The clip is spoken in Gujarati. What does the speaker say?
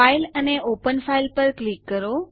ફાઇલ અને ઓપન ફાઇલ પર ક્લિક કરો